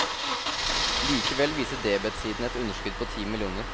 Likevel viser debetsiden et underskudd på ti millioner.